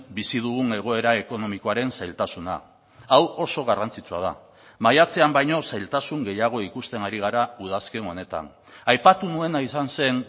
bizi dugun egoera ekonomikoaren zailtasuna hau oso garrantzitsua da maiatzean baino zailtasun gehiago ikusten ari gara udazken honetan aipatu nuena izan zen